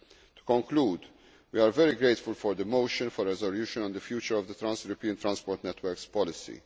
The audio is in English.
To conclude, we are very grateful for the motion for a resolution on the future of the trans European transport networks policy.